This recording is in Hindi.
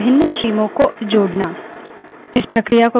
pipes का उपयोग commands की श्रृंखला बनाने के लिए करते हैं